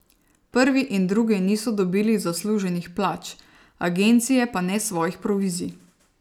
Prvi in drugi niso dobili zasluženih plač, agencije pa ne svojih provizij.